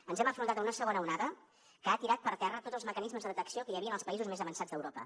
ens hem enfrontat a una segona onada que ha tirat per terra tots els mecanismes de detecció que hi havia en els països més avançats d’europa